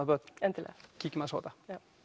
börn endilega kíkjum aðeins á þetta